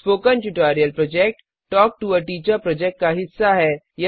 spoken tutorial project talk to a teacher project का हिस्सा है